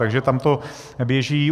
Takže tam to běží.